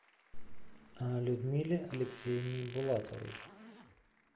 людмиле алексеевне булатовой